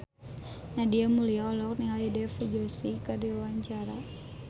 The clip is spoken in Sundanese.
Nadia Mulya olohok ningali Dev Joshi keur diwawancara